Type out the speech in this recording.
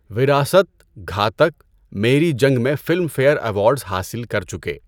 وراثت، گھاتک، میری جنگ میں فلم فئیر ایوارڈز حاصل کر چکے۔